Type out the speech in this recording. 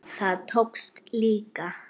Það tókst líka.